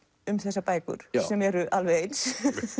um þessar bækur sem eru alveg eins